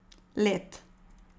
Led.